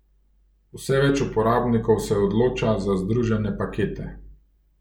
Vse več uporabnikov se odloča za združene pakete.